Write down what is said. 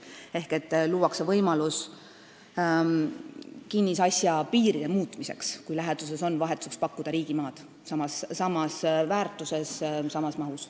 Näiteks võib luua võimaluse kinnisasja piiride muutmiseks, kui läheduses on vahetuseks pakkuda riigimaad samas väärtuses ja samas mahus.